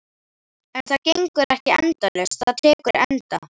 En það gengur ekki endalaust, það tekur enda.